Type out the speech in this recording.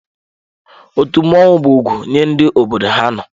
Otu mmọnwụ bụ ugwu nye ndị obodo ha nọ.